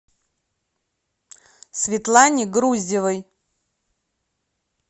светлане груздевой